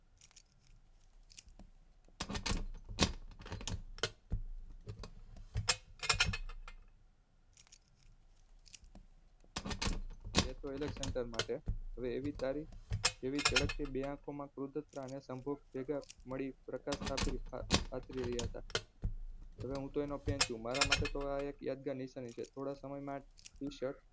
એક તો અલેકક્ષાંડર માટે એવી ચળકતી બે આંખો માં પ્રકાશ પથારી રહ્યા હતા એમાં હૂતો એનો fan છું મારામાટે તો આ એક યાદગાર નિશાની છે થોડા સમયમાંજ